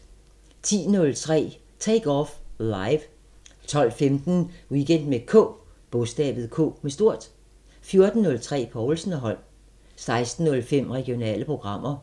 10:03: Take Off Live 12:15: Weekend med K 14:03: Povlsen & Holm 16:05: Regionale programmer